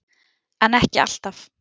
En ekki alltaf.